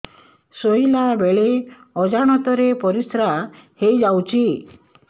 ଶୋଇଲା ବେଳେ ଅଜାଣତ ରେ ପରିସ୍ରା ହେଇଯାଉଛି